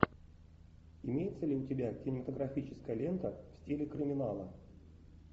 имеется ли у тебя кинематографическая лента в стиле криминала